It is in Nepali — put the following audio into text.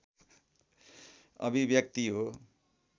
अभिव्यक्ति हो